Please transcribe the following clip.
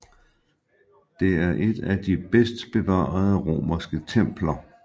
Det er et af de bedst bevarede romerske templer